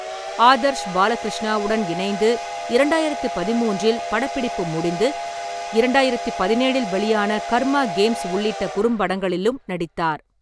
ஆதர்ஷ் பாலகிருஷ்ணாவுடன் இணைந்து இரண்டாயிரத்தி பதிமூன்றில் படப்பிடிப்பு முடிந்து இரண்டாயிரத்தி பதினேழில் வெளியான கர்மா கேம்ஸ் உள்ளிட்ட குறும்படங்களிலும் நடித்தார்.